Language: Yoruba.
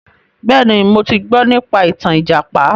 Bẹ́ẹ̀ni, mo ti gbọ nípa ìtàn ìjàpá.